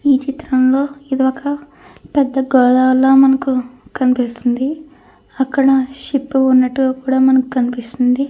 ఈ చిత్రంలో ఏదో ఒక పెద్ద గోదారిలో మనకు కనిపిస్తుంది. అక్కడ షిప్ ఉన్నట్టు కూడా మనకు కనిపిస్తుంది.